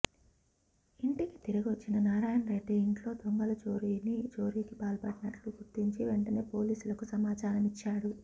ఇంటికి తిరిగొచ్చిన నారాయణరెడ్డి ఇంట్లో దొంగలు చోరీకి పాల్పడినట్లు గుర్తించి వెంటనే పోలీసులకు సమాచారమిచ్చాడు